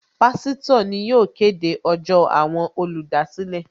Pásítọ̀ ni yóò kéde ọjọ́ àwọn olùdásílẹ̀